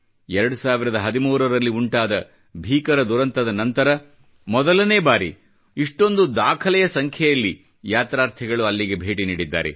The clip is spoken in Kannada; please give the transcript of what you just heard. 2013 ರಲ್ಲಿ ಉಂಟಾದ ಭೀಕರ ದುರಂತದ ನಂತರ ಮೊದಲನೇ ಬಾರಿ ಇಷ್ಟೊಂದು ದಾಖಲೆಯ ಸಂಖ್ಯೆಯಲ್ಲಿ ಯಾತ್ರಾರ್ಥಿಗಳು ಅಲ್ಲಿಗೆ ಭೇಟಿ ನೀಡಿದ್ದಾರೆ